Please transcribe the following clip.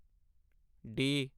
D